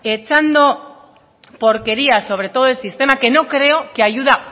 echando porquería sobre todo el sistema que no creo que ayuda